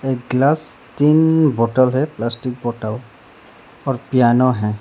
Glass तीन bottle है plastic bottle और पियानो है।